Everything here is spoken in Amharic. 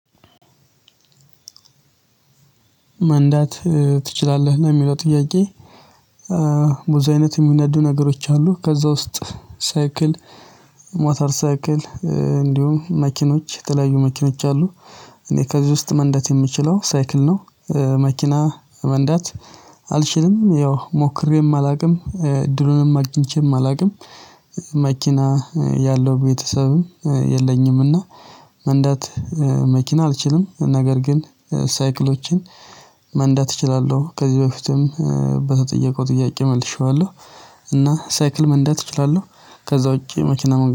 መንዳት ትችላለህ? ነው የሚለው ጥያቄ በዙ አይነት የሚነዱ ነገሮች አሉ ከዛ ውስጥ ሳይክል ሞተር ሳይክል እንዲሁም መኪኖች የተለያዩ መኪኖች አሉ እኔ ከዚህ ውስጥ መንዳት የምችለው ሳይክል ነው። መኪና መንዳት አልችልም ያው ሞክሬም አላቅም እድሉንም አግኝቼም አላቅም። መኪና ያለው ቤተሰብም የለኝም እና መንዳት መኪና አልችልም ነገር ግን ሳይክሎችን መንዳት እችላለው ከዚህ በፊትም በተጠየቀው ጥያቄ መልሼዋለው። እና ሳይክል መንዳት እችላለው ከዛ ውጪ መኪና